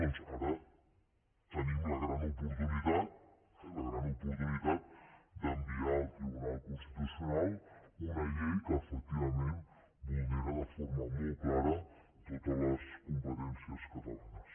doncs ara tenim la gran oportunitat la gran oportunitat d’enviar al tribunal constitucional una llei que efectivament vulnera de forma molt clara totes les competències catalanes